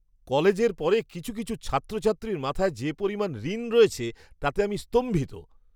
কলেজের পরে কিছু কিছু ছাত্রছাত্রীর মাথায় যে পরিমাণ ঋণ রয়েছে তাতে আমি স্তম্ভিত!